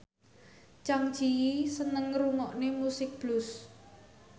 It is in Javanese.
Zang Zi Yi seneng ngrungokne musik blues